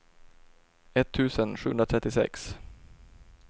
etttusen sjuhundratrettiosex